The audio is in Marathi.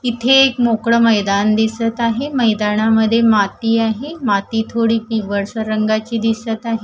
इथे एक मोकळं मैदान दिसत आहे मैदानामध्ये माती आहे माती थोडी पिवळसर रंगाची दिसत आहे.